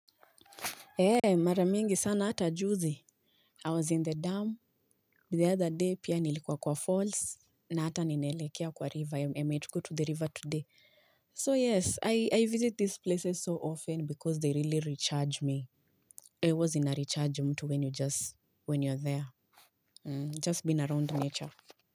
Eeh mara mingi sana hata juzi. I was in the dam the other day pia nilikuwa kwa falls. Na hata ninaelekea kwa river. I might go to the river today. So yes, I visit these places so often because they really recharge me. Huwa zina recharge mtu when you just, when you're there. Just been around nature.